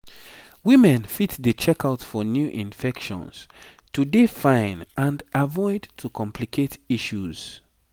women fit dey check out for new infections to dey fine and avoid to complicate issues